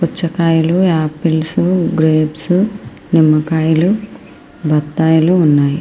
పుచ్చకాయలు apples grapes నిమ్మకాయలు బత్తాయిలు ఉన్నాయి.